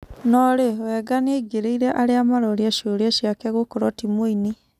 No-rĩ, Wenga nĩaingĩrĩire arĩa maroria cioria ciake gũkorũo timuinĩ.